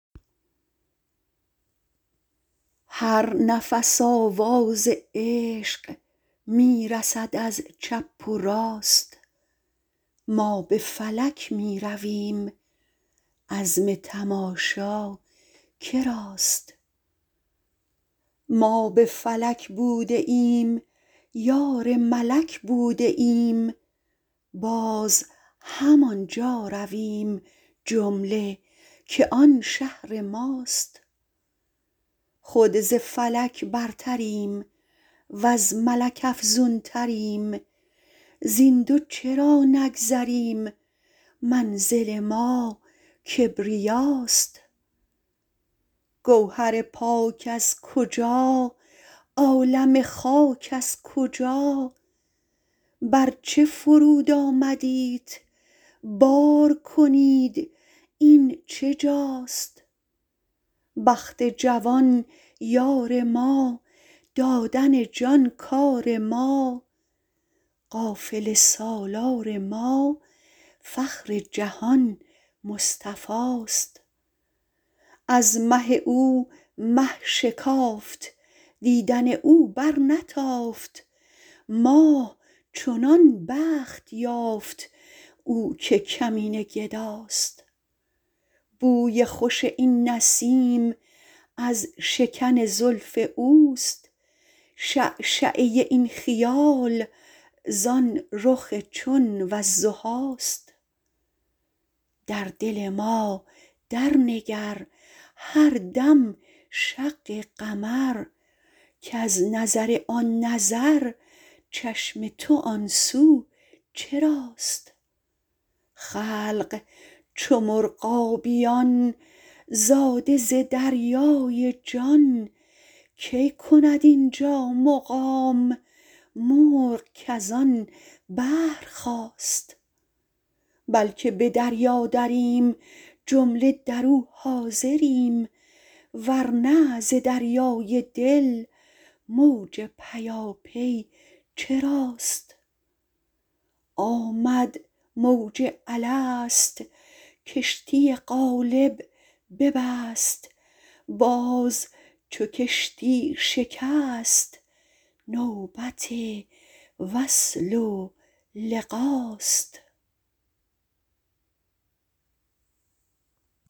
هر نفس آواز عشق می رسد از چپ و راست ما به فلک می رویم عزم تماشا که راست ما به فلک بوده ایم یار ملک بوده ایم باز همان جا رویم جمله که آن شهر ماست خود ز فلک برتریم وز ملک افزونتریم زین دو چرا نگذریم منزل ما کبریاست گوهر پاک از کجا عالم خاک از کجا بر چه فرود آمدیت بار کنید این چه جاست بخت جوان یار ما دادن جان کار ما قافله سالار ما فخر جهان مصطفاست از مه او مه شکافت دیدن او برنتافت ماه چنان بخت یافت او که کمینه گداست بوی خوش این نسیم از شکن زلف اوست شعشعه این خیال زان رخ چون والضحاست در دل ما درنگر هر دم شق قمر کز نظر آن نظر چشم تو آن سو چراست خلق چو مرغابیان زاده ز دریای جان کی کند این جا مقام مرغ کز آن بحر خاست بلک به دریا دریم جمله در او حاضریم ور نه ز دریای دل موج پیاپی چراست آمد موج الست کشتی قالب ببست باز چو کشتی شکست نوبت وصل و لقاست